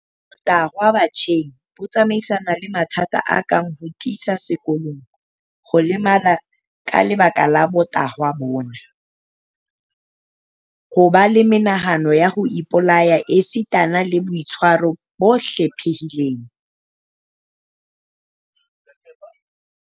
Botahwa batjheng bo tsamaisana le mathata a kang ho thisa sekolong, ho lemala ka lebaka la botahwa bona, ho ba le menahano ya ho ipolaya esitana le boitshwaro bo hlephileng.